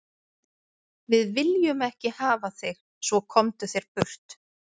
Við viljum ekki hafa þig svo, komdu þér burt.